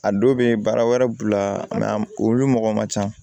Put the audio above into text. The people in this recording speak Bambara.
A dɔw bɛ baara wɛrɛ b'u la olu mɔgɔ man ca